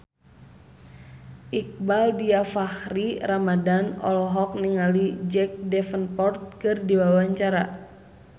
Iqbaal Dhiafakhri Ramadhan olohok ningali Jack Davenport keur diwawancara